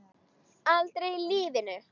Aldrei í lífinu!